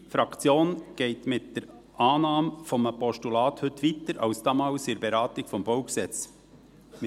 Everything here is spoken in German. Unsere Fraktion geht mit der Annahme eines Postulats heute weiter als damals in der Beratung des Baugesetzes (BauG).